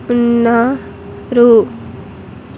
ఉన్నా-- రు.